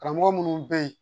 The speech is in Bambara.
Karamɔgɔ minnu bɛ yen